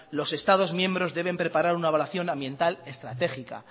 los estados miembros deben preparar una evaluación ambiental estratégica